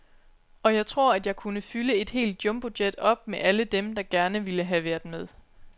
Og jeg tror, at jeg kunne fylde et helt jumbojet op med alle dem, der gerne ville have været med.